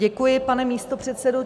Děkuji, pane místopředsedo.